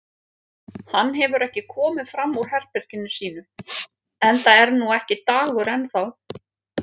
Hann hefur ekki komið fram úr herberginu sínu enda er nú ekki dagur enn þá.